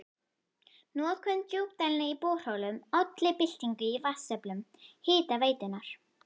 Notkun djúpdælna í borholum olli byltingu í vatnsöflun Hitaveitunnar.